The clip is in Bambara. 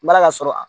N m'a ka sɔrɔ